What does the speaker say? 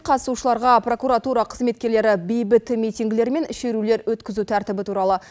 қатысушыларға прокуратура қызметкерлері бейбіт митингілер мен шерулер өткізу тәртібі туралы